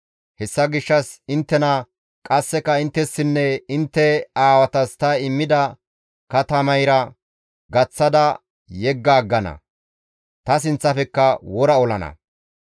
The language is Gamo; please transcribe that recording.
Hessa gishshas inttena, qasseka inttessinne intte aawatas ta immida katamayra gaththada yegga aggana; ta sinththafekka wora olana.